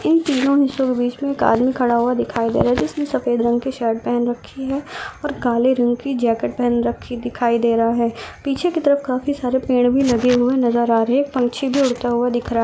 जिसने सफेद रंग की शर्ट पहन रखी है और काले रंग की जैकेट पहन रखी दिखाई दे रहा है पीछे की तरफ काफी सारे पेड़ भी लगे हुआ नजर आ रहे हैं एक पक्षी भी उड़ता हुआ दिख रहा है।